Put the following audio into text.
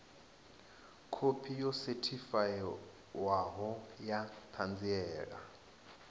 khophi yo sethifaiwaho ya ṱhanziela